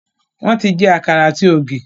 Wọn ti jẹ àkàrà ati ogi